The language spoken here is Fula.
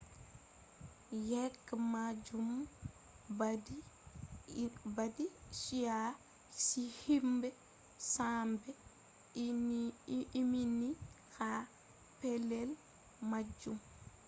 yeke majum badi chi'a himbe 100 be ummini ha pellel majum